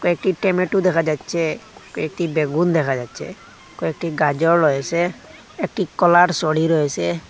কয়েকটি টেমেটো দেখা যাচ্ছে কয়েকটি বেগুন দেখা যাচ্ছে কয়েকটি গাজর রয়েসে একটি কলার সড়ি রয়েসে।